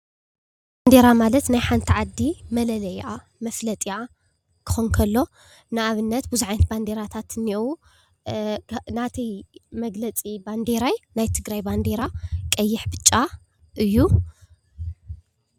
ባንዴራ ማለት ናይ ሓንቲ ዓዲ መለለይኣ ፣መፍለጢኣ ክኸውን ከሎ ንኣብነት ብዙሕ ዓይነት ባንዴራታት እኒአው። ናተይ መግለፂ ባንዴራይ ናይ ትግራይ ባንዴራ ቀይሕ፣ ብጫ እዩ።